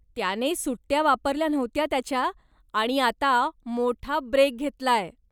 त्याने सुट्ट्या वापरल्या नव्हत्या त्याच्या, आणि आता मोठा ब्रेक घेतलाय.